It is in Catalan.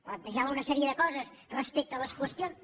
plantejava una sèrie de coses respecte a les qüestions